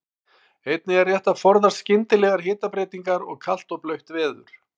Einnig er rétt að forðast skyndilegar hitabreytingar og kalt og blautt veður.